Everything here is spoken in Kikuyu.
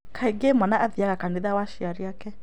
Kaingĩ mwana athiaga kanitha wa aciari ake